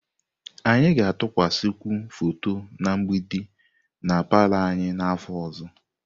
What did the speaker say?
Anyị ga-atụkwasịkwu foto na mgbidi na palọ anyị n'afọ ọzọ.